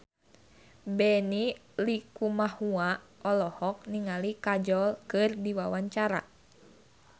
Benny Likumahua olohok ningali Kajol keur diwawancara